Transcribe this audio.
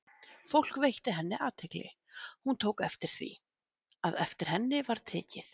Fólk veitti henni athygli, og hún tók eftir því, að eftir henni var tekið.